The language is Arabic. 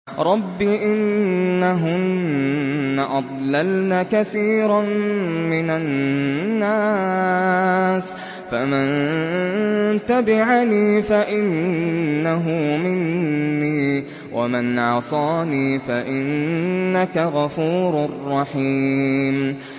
رَبِّ إِنَّهُنَّ أَضْلَلْنَ كَثِيرًا مِّنَ النَّاسِ ۖ فَمَن تَبِعَنِي فَإِنَّهُ مِنِّي ۖ وَمَنْ عَصَانِي فَإِنَّكَ غَفُورٌ رَّحِيمٌ